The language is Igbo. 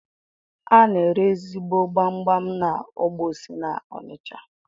Ana ere ezigbo gbamgbam na Ogbosi n’Onisha